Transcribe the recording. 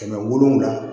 Kɛmɛ wolonwula